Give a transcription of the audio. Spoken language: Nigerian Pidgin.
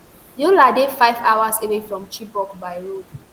yola dey five hours away from chibok by road